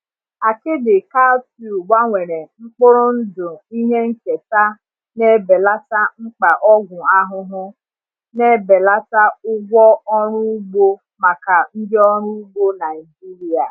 Akidi cowpea gbanwere mkpụrụ ndụ ihe nketa na-ebelata mkpa ọgwụ ahụhụ, na-ebelata ụgwọ ọrụ ugbo maka ndị ọrụ ugbo Naijiria.